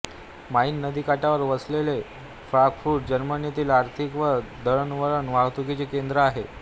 mine नदीकाठावर वसलेले Frankfurt जर्मनीतील आर्थिक व दळणवळणवाहतुकीचे केंद्र आहे